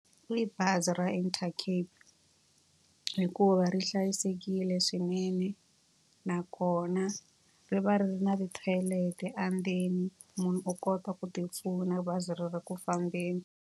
I bazi ra Intercape hikuva ri hlayisekile swinene, nakona ri va ri ri na ti-toilet-e endzeni. Munhu u kota ku ti pfuna bazi ri ri ku fambeni.